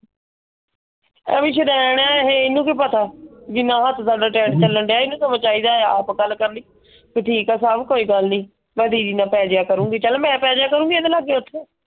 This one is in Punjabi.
ਐਵੇਂ ਸ਼ੁਦੈਣ ਆ ਇਹ। ਇਹਨੂੰ ਕਿ ਪਤਾ ਜਿੰਨਾ ਹੱਥ ਸਦਾ ਟਾਈਟ ਚਲਣ ਡਿਯਾ ਇਹਨੂੰ ਸਗੋਂ ਚਾਹੀਦਾ ਆ ਆਪ ਗੱਲ ਕਰਨੀ। ਕਿ ਠੀਕ ਆ ਸਬ ਕੋਈ ਗੱਲ ਨਹੀਂ। ਮੈਂ ਦੀਦੀ ਨਾਲ ਪੈ ਜਿਯਾ ਕਰੂੰਗੀ ਚਲ ਮੈਂ ਪੈ ਜਾਇਆ ਕਰੂੰਗੀ ,